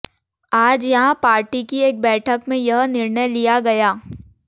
आज यहां पार्टी की एक बैठक में यह निर्णय लिया गया